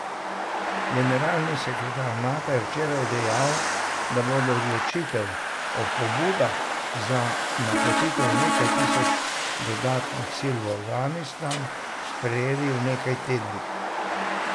Generalni sekretar Nata je včeraj dejal, da bodo odločitev o pobudah za napotitev nekaj tisoč dodatnih sil v Afganistan, sprejeli v nekaj tednih.